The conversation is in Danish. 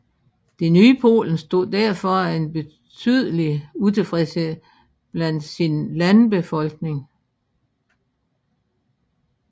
Det nye Polen stod derfor en betydelig utilfredshed blandt sin landbefolkning